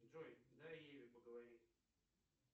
джой дай еве поговорить